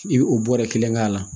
I bɛ o bɔrɛ kelen k'a la